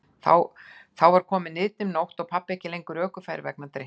Þá var komin niðdimm nótt og pabbi ekki lengur ökufær vegna drykkju.